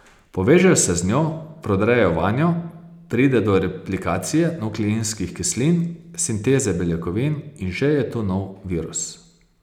Povežejo se z njo, prodrejo vanjo, pride do replikacije nukleinskih kislin, sinteze beljakovin in že je tu nov virus.